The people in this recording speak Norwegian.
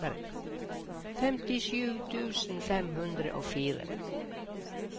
femtisju tusen fem hundre og fire